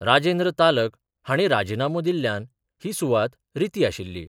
राजेंद्र तालक हांणी राजिनामो दिल्ल्यान ही सुवात रिती आशिल्ली.